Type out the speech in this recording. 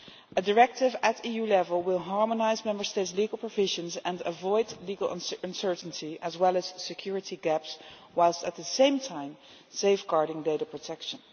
A directive at EU level will harmonise Member States' legal provisions and avoid legal uncertainty as well as security gaps, while at the same time safeguarding data protection.